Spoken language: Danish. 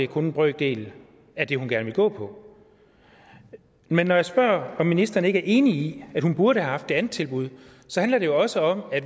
kun en brøkdel af det hun gerne vil gå på men når jeg spørger om ministeren ikke er enig i at hun burde have haft det andet tilbud så handler det jo også om at